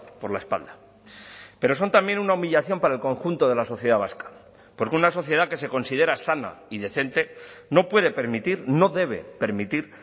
por la espalda pero son también una humillación para el conjunto de la sociedad vasca porque una sociedad que se considera sana y decente no puede permitir no debe permitir